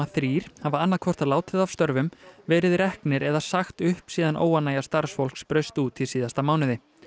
þrír hafa annað hvort látið af störfum verið reknir eða sagt upp síðan óánægja starfsfólks braust út í síðasta mánuði